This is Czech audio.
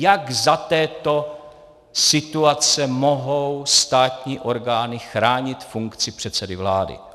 Jak za této situace mohou státní orgány chránit funkci předsedy vlády?